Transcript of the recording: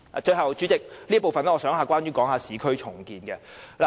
最後，代理主席，我想在這部分談談市區重建。